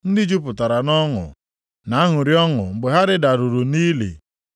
ndị jupụtara nʼọṅụ, na-aṅụrị ọṅụ mgbe ha rịdaruru nʼili?